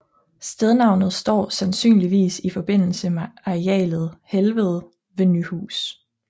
Stednavnet står sandynligvis i forbindelse med arealet Helvede ved Nyhus